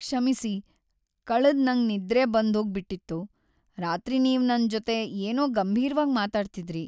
ಕ್ಷಮಿಸಿ, ಕಳೆದ್ ನಂಗ್ ನಿದ್ರೆ ಬಂದೋಗ್ ಬಿಟ್ಟಿತ್ತು. ರಾತ್ರಿ ನೀವ್ ನನ್ ಜೊತೆ ಏನೋ ಗಂಭೀರ್ವಾಗ್ ಮಾತಾಡ್ತಿದ್ರಿ.